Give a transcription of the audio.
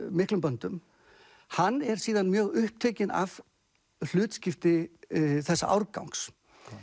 miklum böndum hann er síðan mjög upptekinn af hlutskipti þessa árgangs